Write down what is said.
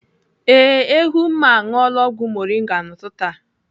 Ee, Ehumma aṅụọla ọgwụ moringa n'ụtụtụ a.